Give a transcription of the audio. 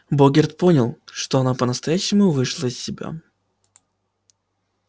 богерт понял что она по-настоящему вышла из себя